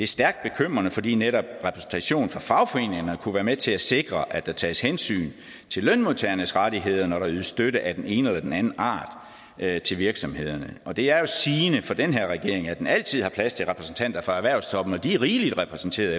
stærkt bekymrende fordi netop repræsentation fra fagforeningerne kunne være med til at sikre at der tages hensyn til lønmodtagernes rettigheder når der ydes støtte af den ene eller den anden art til virksomhederne og det er jo sigende for den her regering at den altid har plads til repræsentanter fra erhvervstoppen de er rigeligt repræsenteret